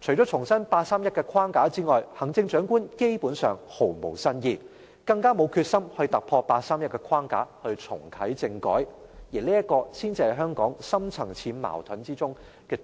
除了重申八三一框架外，行政長官基本上毫無新意，更沒有決心突破八三一框架，重啟政改，而這才是香港深層次矛盾中